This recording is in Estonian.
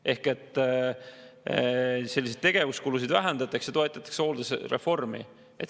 Ehk siis selliseid tegevuskulusid vähendatakse ja toetatakse hooldusreformi.